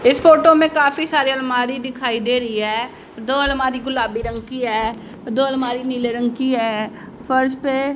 इस फोटो में काफी सारी अलमारी दिखाई दे रही है। दो अलमारी गुलाबी रंग की है। दो अलमारी नीले रंग की है फ़र्श पे--